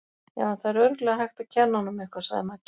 Já, en það er örugglega hægt að kenna honum eitthvað, sagði Maggi.